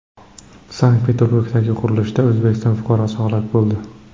Sankt-Peterburgdagi qurilishda O‘zbekiston fuqarosi halok bo‘ldi.